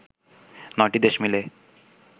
৯টি দেশ মিলে